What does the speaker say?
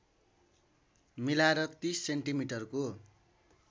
मिलाएर ३० सेन्टिमिटरको